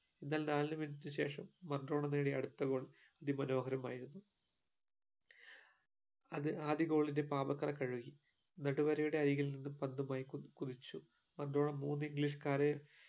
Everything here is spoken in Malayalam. എന്നാൽ നാല് minute ന് ശേഷം മർഡോണാ നേടി അടുത്ത goal അതി മനോഹരമായിരുന്നു അഹ് അത് ആദ്യ goal ന്റെ പാപ കറ കഴുകി നടുവരയുടെ അരികിൽ നിന്നും പന്തുമായി കു കുതിച്ചു മൂന്ന് english കാരെ